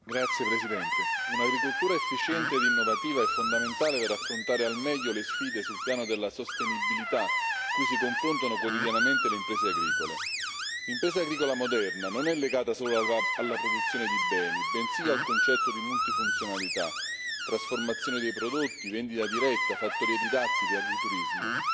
Signora Presidente, onorevoli colleghi, un'agricoltura efficiente ed innovativa è fondamentale per affrontare al meglio le sfide sul piano della sostenibilità cui si confrontano quotidianamente le imprese agricole. L'impresa agricola moderna non è legata solo alla produzione di beni, bensì al concetto di multifunzionalità, trasformazione dei prodotti, vendita diretta, fattorie didattiche, agriturismo.